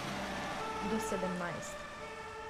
Do sedemnajst.